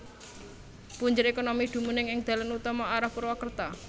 Punjer ékonomi dumunung ing dalan utama arah Purwakerta